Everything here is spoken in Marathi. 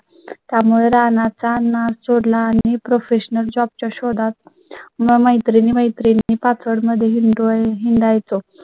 त्यामुळे रानात तानाच सोड ला आणि professional job च्या शोधात मैत्रिणी, मैत्रिणी पाचवड मध्ये हिंदू हिंडायचं